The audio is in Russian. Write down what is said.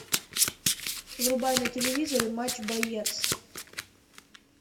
врубай на телевизоре матч боец